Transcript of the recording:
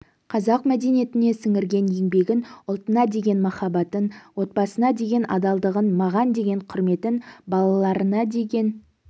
қазақ мәдениетіне сіңірген еңбегін ұлтына деген махаббатын отбасына деген адалдығын маған деген құрметін балаларына деген